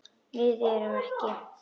Við erum ekki.